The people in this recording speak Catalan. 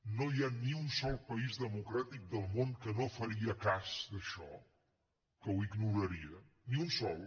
no hi ha ni un sol país democràtic del món que no faria cas d’això que ho ignoraria ni un sol